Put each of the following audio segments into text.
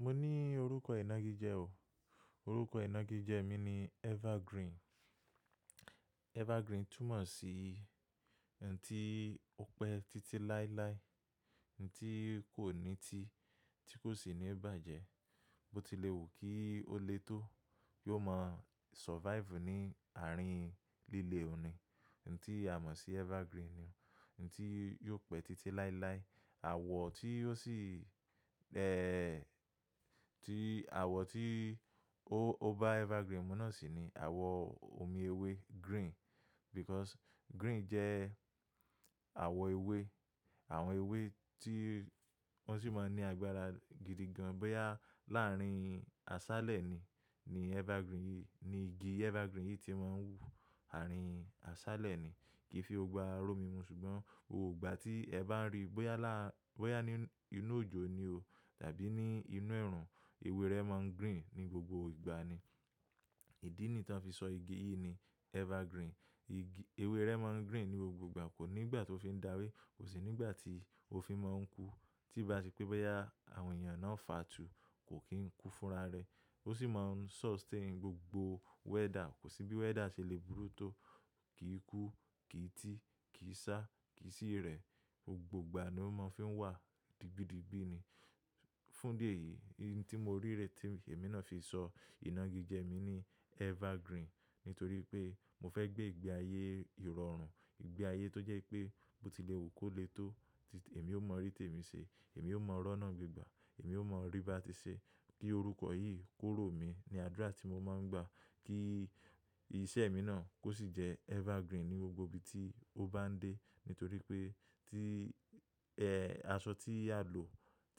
Mo ní orúkọ ìnagijẹ́ o. Orúkọ ìnagijẹ́ mi ni Evergreen. Evergreen túmọ̀ sí ǹ ti ó pẹ́ títí láéláé, ǹ ti kò ní ti, tí kò sì ní bàjẹ́, bó ti lè wù kí ó lè tó, yí ó máa survive ní ààrin líle oun ní. Ǹ ti a mọ̀ sí Evergreen ni, ǹ ti yóò pẹ́ títí láéláé. Àwọ̀ tí ó sì, ẹ́, tí àwọ̀ tí ó bá Evergreen múná sì ni àwọ̀ omi ewé green because green jẹ́ àwọ̀ ewé. Àwọn ewé tí wọ́n sì máa ń ní agbára gidigan bóyá láàrin aṣálẹ̀ ni, ni Evergreen yìí, ni igi Evergreen yìí ti máa ń wù ààrin aṣálẹ̀ ni. Kìí fi gbogbo ara ró mimu ṣùgbọ́n gbogbo ìgbà tí ẹ bá ń rí bóyá ní inú òjò ni o tàbí ní inú ẹrùn, ewé rẹ máa ń green ní gbogbo ìgbà ni. Ìdí nìyi ti afi sọ igi yìí ni Evergreen. Ewé rẹ máa ń green ní gbogbo ìgbà, kò ní ìgbà tó fi ń dawe, kò sì ní ìgbà tí ó fi máa ń kú. Tí bá sepé bóyá àwọn èèyàn náà ń fà á tù, kò kí ń kú fúnra rẹ̀. Ó sì máa ń sustain gbogbo weather, kò sí bí weather ṣe lè burú tó kí í kú, kí í ti, kí í sá, kí í sì rẹ̀. Gbogbo ìgbà ni ó máa fi ń wà, digbídigbí ni. Fún di èyí, ohun tí mo rí rẹ̀ tí èmi náà fi sọ ìnagijẹ́ mi ni Evergreen nítorí pé mo fẹ́ gbé ìgbé ayé ìrọ̀rùn, ìgbé ayé tó jẹ́ pé bó ti lè wù kó lè tó, tí èmi ó ma rí tèmi ṣe, èmi ó ma rọ́ náà gbegbà, èmi ó mọ̀ rí bá ti ṣe. Kí orúkọ yìí kórò mi ní adura tí mo máa ń gbà kí iṣẹ́ mi náà kó sì jẹ́ Evergreen ní gbogbo ibi tí ó bá ń dé. Nítorí pé tí, ẹ́, aṣọ tí a lò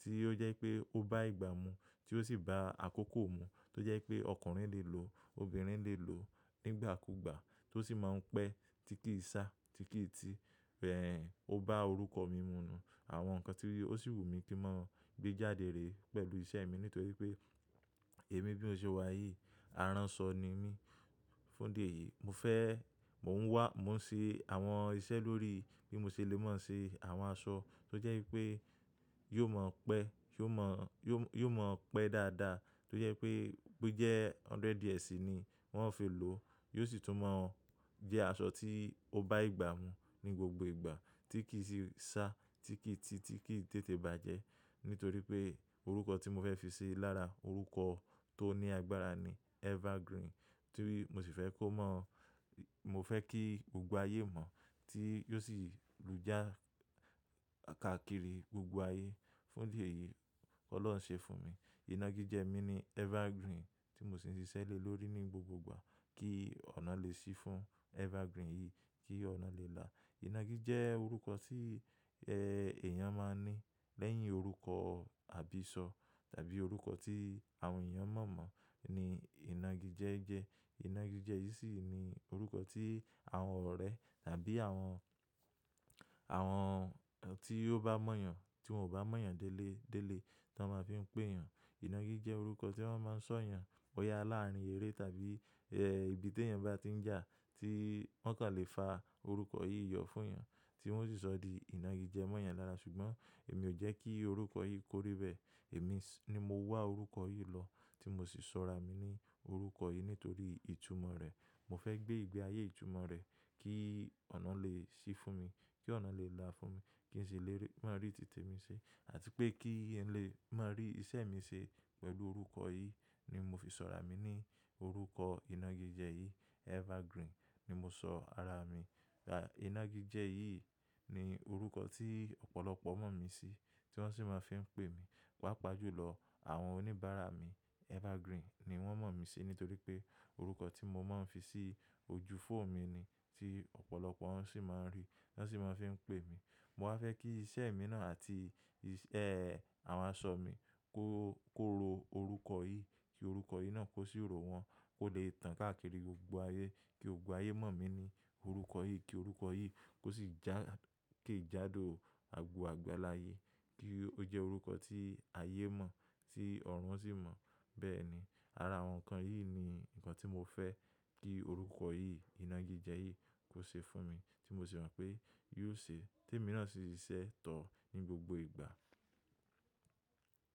tí ó jẹ́ pé ó bá ìgbà mu tí ó sì bá àkókò mu, tó jẹ́ pé ọkùnrin lè lò, obìnrin lè lò nígbàkúgbà, tó sì máa ń pẹ́ tí kì í sá, tí kì í ti. Ẹ̀, ó bá orúkọ mi mu nu àwọn nǹkan tí ó sì wù mí kí n máa gbé jáde rè pẹ̀lú iṣẹ́ mi, nítorí pé èmi bí mo ṣe wà yìí, aránṣọ ni mí. Fún idi èyí, mo fẹ́, mò ń wá, mò ń ṣe àwọn iṣẹ́ lórí bí mo ṣe lè ma se àwọn aṣọ tó jẹ́ wípé yóò ma pẹ́, yóò ma, yóò ma pẹ́ dáadáa tó jẹ́ pé bo jẹ́ hundred years ni wọ́n ó fi lò, yóò sì tún mọ̀ jẹ́ aṣọ tí ó bá ìgbà mu ní gbogbo ìgbà tí kì í sì sá, tí kì í ti, tí kì í tètè bàjẹ́. Nítorí pé orúkọ tí mo fẹ́ fi ṣe lára orúkọ tó ní agbára ni Evergreen tí mo sì fẹ́ kó mọ̀, mo fẹ́ kí gbogbo ayé mọ̀ tí ó sì lù já káàkiri gbogbo ayé. Fún di èyí, Ọlọ́run ṣe fún mi. Ìnagijẹ́ mi ni Evergreen tí mo sì ń ṣiṣẹ́ lórí ní gbogbo ìgbà kí ọ̀nà lè sí fún Evergreen yìí, kí ọ̀nà lè là. Ìnagijẹ́ jẹ́ orúkọ tí, ẹ́, èèyàn máa ń ní lẹ́yìn orúkọ àbísọ̀ tàbí orúkọ tí àwọn èèyàn mọ̀ mọ̀ ni ìnagijẹ́ jẹ́. Ìnagijẹ́ yìí sì ni orúkọ tí àwọn ọ̀rẹ́ tàbí àwọn, àwọn tí ó bá mọ̀ èèyàn, tí wọ́n ò bá mọ̀ èèyàn dele, dele tí wọ́n máa fi ń pè èèyàn. Ìnagijẹ́ jẹ́ orúkọ tí wọ́n máa ń sọ èèyàn bóyá láàrin eré tàbí, ẹ́, ibi tí èèyàn bá ti ń jà tí wọ́n kàn lè fa orúkọ yìí yọ fún èèyàn tí wọ́n sì sọ di ìnagijẹ́ mọ́ èèyàn lára. Ṣùgbọ́n èmi ò jẹ́ kí orúkọ yìí kórí bẹ́ẹ̀. Èmi ni mo wá orúkọ yìí lọ tí mo sì sọra mi ní orúkọ yìí nítorí ìtumọ̀ rẹ̀. Mo fẹ́ gbé ìgbé ayé ìtumọ̀ rẹ̀ kí ọ̀nà lè sí fún mi, kí ọ̀nà lè là fún mi, kí n si lè máa rí tì temi ṣe àti pé kí n lè máa rí iṣẹ́ mi ṣe pẹ̀lú orúkọ yìí ni mo fi sọra mi ní orúkọ ìnagijẹ́ yìí Evergreen ni mo sọ ara mi. Ìnagijẹ́ yìí ni orúkọ tí ọ̀pọ̀lọpọ̀ mọ̀ mí sí tí wọ́n sì máa fi ń pè mi. Pápá jù lọ, àwọn oníbàárà mi Evergreen ni wọ́n mọ̀ mí sí nítorí pé orúkọ tí mo máa ń fi sí ojú foonu mi ni tí ọ̀pọ̀lọpọ̀ wọn sì máa ń rí, ti wọ́n sì máa fi ń pè mi. Mo wá fẹ́ kí iṣẹ́ mi náà àti, isẹ́, àwọn aṣọ mi kó, kó ro orúkọ yìí, kí orúkọ yìí náà kó sí ro wọn, kó lè tàn káàkiri gbogbo ayé, kí gbogbo ayé mọ̀ mí ní orúkọ yìí, kí orúkọ yìí kó sì já ke jádò àgbo àgbalà ayé, kí ó jẹ́ orúkọ tí ayé mọ̀ tí ọ̀run sì mọ̀. Bẹ́ẹ̀ ni, ara àwọn nǹkan yìí ni nǹkan tí mo fẹ́ kí orúkọ yìí, ìnagijẹ́ yìí kó ṣe fún mi tí mo sì mọ̀ pé yóò ṣe. Tèmi náà sì ṣiṣẹ́ tọ̀ ní gbogbo ìgbà.